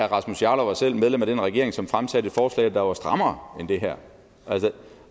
rasmus jarlov var selv medlem af den regering som fremsatte et forslag der var strammere end det her